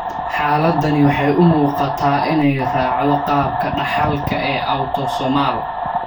Xaaladdani waxay u muuqataa inay raacdo qaabka dhaxalka ee autosomal.